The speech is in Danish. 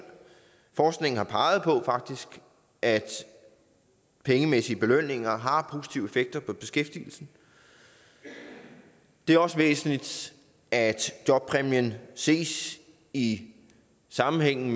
forskningen har faktisk peget på at pengemæssige belønninger har positive effekter på beskæftigelsen det er også væsentligt at jobpræmien ses i sammenhængen